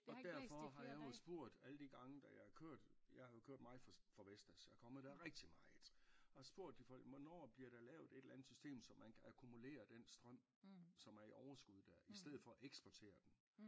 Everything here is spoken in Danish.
Og derfor har jeg også spurgt alle de gange da jeg er kørt jeg kørte meget for for Vestas jeg er kommet der rigtig meget og har spurgt de folk hvornår bliver der lavet et eller andet system så man kan akkumulere den strøm som er i overskud der i stedet for at eksportere den